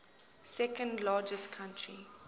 second largest country